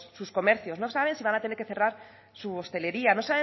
sus comercios no saben si van a tener que cerrar su hostelería no